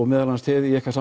meðal annars þið í ykkar